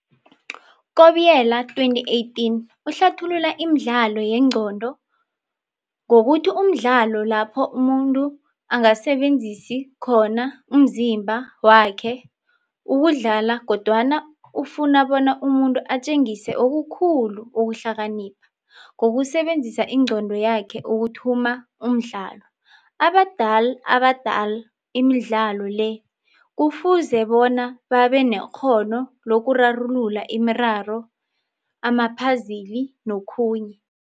Kobiela, 2018, uhlathulula Imidlalo yeengqondo ngokuthi mdlalo lapho umuntu angasebenzisi khona umzimba wakhe ukudlala kodwana ufuna bona umuntu atjengise okukhulu okuhlakanipha, ngokusebenzisa ingqondo yakhe ukuthuma umdlalo. abadalal abadalal imidlalo le kufuze bona babe nekghono lokurarulula imiraro, amaphazili nokhunye.